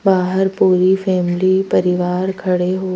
बाहर पूरी फैमिली परिवार खड़े हो।